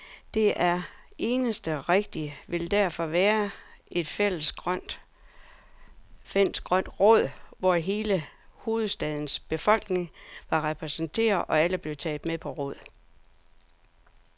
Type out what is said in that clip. Det eneste rigtige ville derfor være et fælles grønt råd, hvor hele hovedstadens befolkning var repræsenteret, og alle blev taget med på råd.